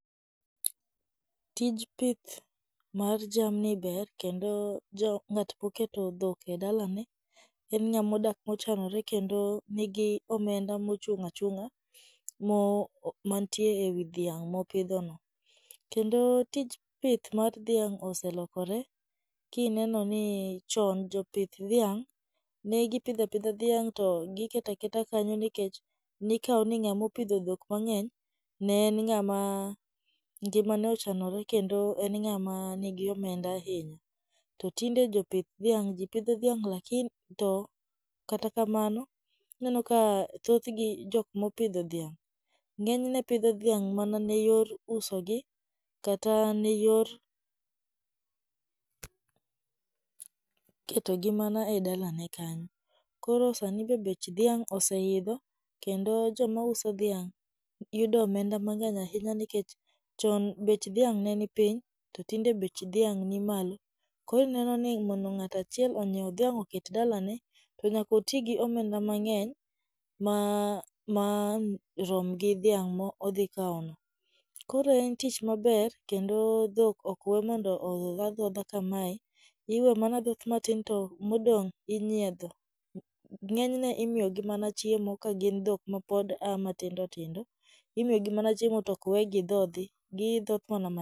Tij pith mar jamni ber kendo jo ng'ama oketo dhok e dalane en ng'at mochanore, kendo nigi omenda mochung' achung'a mo mantie ewi dhiang' mopidhono. Kendo tij pith mar dhiang' oselokore kineno ni chon jopith dhiang', negi pidha pidha dhiang' to giketa keta kanyo nikech nikao ni ng'ama opidho dhok mang'eny ne en ng'ama ngimane ochanore kendo en ng'ama nigi omenda ahinya. To tinde jopith dhiang' ji pidho dhiang' laki to kata kamano ineno ka thothgi jok mopidho dhiang' ng'enyne phidho dhiang' mana ne yor usogi kata ne yor ketogi mana e dalane kanyo. Koro sani be bech dhiang' oseidho kendo joma uso dhiang' yudo omenda mang'eny ahinya nikech chon bech dhiang' ne nipiny to tinde bech dhiang' nimalo, koro inenoni mondo ng'at achiel onyieu dhiang' oket dalane, to nyaka oti gi omenda mang'eny ma ma an rom gi dhiang' ma odhi kaono. Koro en tich maber kendo dhok ok we mondo odhodh adhodha kamae, iwe manaa dhoth matin to modong inyiedho. Ng'enyne imiyogi mana chiemo ka gin dhok ma pod a matindo tindo, imiyogi mana chiemo to ok we gi dhodhi, gidhoth mana ma.